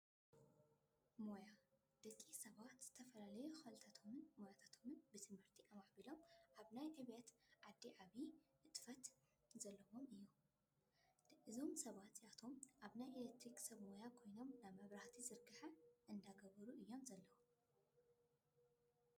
ሞያ፦ ደቂ ሰባት ዝተፈላለዩ ኽእለታት ሞያታትን ብትምህርቲ ኣመዕቢሎ ኣብ ናይ ዕብየት ዓዲ ዓብዩ ንጥፈት ዘለዎም እዮም። እዞም ሰባት እዚኣቶም ናይ ኤሌክትሪክ ሰብ ሞያ ኮይኖ ናይ መብራህቲ ዝርገሐ እንዳገበሩ እዮም ዘለው።